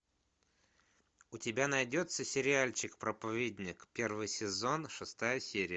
у тебя найдется сериальчик проповедник первый сезон шестая серия